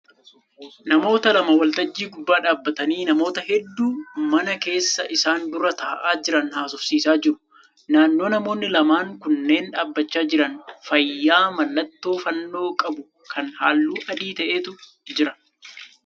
Namoota lama waltajjii gubbaa dhaabbatanii namoota hedduu mana keessa isaan dura ta'aa jiran haasofsiisaa jiru. Naannoo namoonni lamaan kunneen dhaabbachaa jiran faayyaa mallattoo fannoo qabu kan halluu adii ta'etu jira.